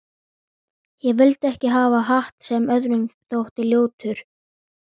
Ég vildi ekki hafa hatt sem öðrum þótti ljótur.